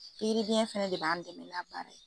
Pikiri biɲɛ fɛnɛ de b'an dɛmɛ baara